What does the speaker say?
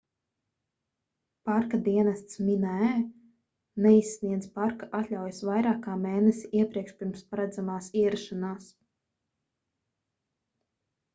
parka dienests minae neizsniedz parka atļaujas vairāk kā mēnesi iepriekš pirms paredzamās ierašanās